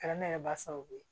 Kɛra ne yɛrɛ ba sababu ye